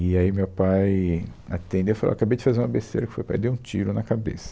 E aí o meu pai atendeu e falou, ó, acabei de fazer uma besteira, eu que foi pai, ele deu um tiro na cabeça.